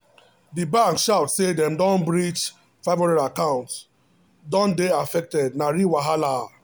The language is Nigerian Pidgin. the bank shout say dem get breach 500 account don dey affected na real wahala